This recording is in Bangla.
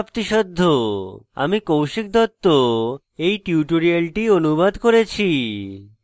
আমি কৌশিক দত্ত এই টিউটোরিয়ালটি অনুবাদ করেছি